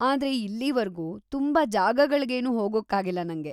ಆದ್ರೆ ಇಲ್ಲೀವರ್ಗೂ ತುಂಬಾ ಜಾಗಗಳ್ಗೇನು ಹೋಗೋಕ್ಕಾಗಿಲ್ಲ ನಂಗೆ.